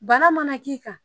Bana mana k'i kan